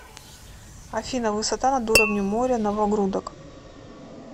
афина высота над уровнем моря новогрудок